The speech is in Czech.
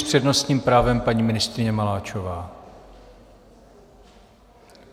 S přednostním právem paní ministryně Maláčová.